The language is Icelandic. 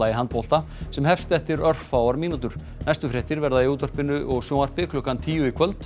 handbolta sem hefst eftir örfáar mínútur næstu fréttir verða í útvarpi og sjónvarpi klukkan tíu í kvöld